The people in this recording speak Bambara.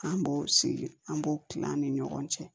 An b'o sigi an b'o kila an ni ɲɔgɔn cɛ